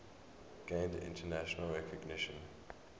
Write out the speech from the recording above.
gained international recognition